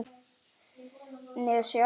ef. nesja